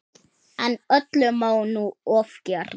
En öllu má nú ofgera.